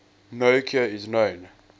no cure is known